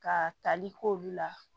Ka tali k'olu la